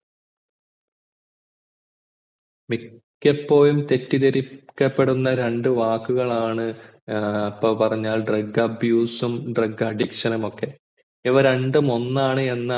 മിക്കപ്പോഴും തെറ്റിതെരിക്കപ്പെടുന്ന രണ്ടു വാക്കുകളാണ് ഇപ്പൊ പറഞ്ഞ drug abuse ഉം drug addiction നുമൊക്കെ ഇവ രണ്ടും ഒന്നാണ് എന്ന